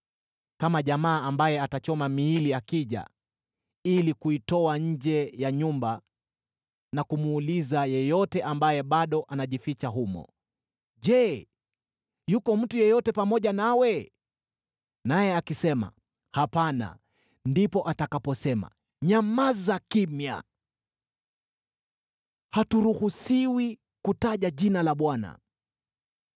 Kama jamaa ambaye atachoma miili akija ili kuitoa nje ya nyumba, na kumuuliza yeyote ambaye bado anajificha humo, “Je, yuko mtu yeyote pamoja nawe?” Naye akisema, “Hapana,” ndipo atakaposema, “Nyamaza kimya! Haturuhusiwi kutaja jina la Bwana .”